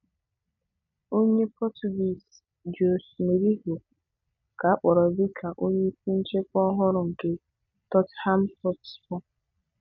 Onye Portuguese, Jose Mourinho ka a kpọrọ dịka onyeisi nchịkwa ọhụrụ nke Tottenham Hotspurs.